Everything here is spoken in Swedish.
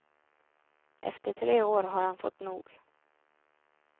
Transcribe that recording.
Efter tre år har han fått nog.